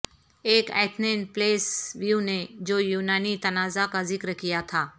ایک ایتھنین پلیس ویو نے جو یونانی تنازعہ کا ذکر کیا تھا